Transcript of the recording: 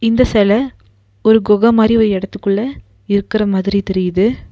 இந்த சேல ஒரு குக மாரி ஒரு எடதுக்குள்ள இருக்கற மாதிரி தெரியிது.